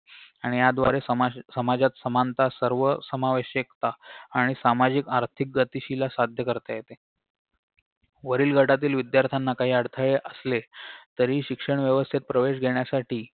आणि याद्वारे सामा समाजात समानता सर्व समावेशकता आणि सामाजिक आर्थिक गतिशीला साध्य करता येते वरील गटातील विद्यार्त्याना काही अडथळे असले तरी शिक्षण व्यवस्थेत प्रवेश घेण्यासाठी